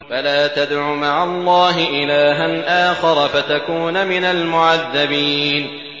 فَلَا تَدْعُ مَعَ اللَّهِ إِلَٰهًا آخَرَ فَتَكُونَ مِنَ الْمُعَذَّبِينَ